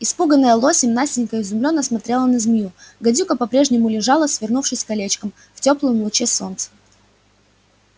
испуганная лосем настенька изумлённо смотрела на змею гадюка по-прежнему лежала свернувшись колечком в тёплом луче солнца